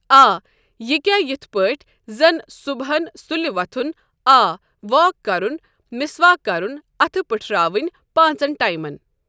آ یہِ کیا یتھ پٲتٹھۍ زن صُبحَن سُلہِ وَتھُن آ واک کرُن مسواک کرُن اتھہٕ پٹھراوٕنۍ پانژن ٹایمن۔